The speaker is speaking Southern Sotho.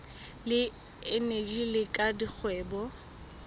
le eneji le la dikgwebo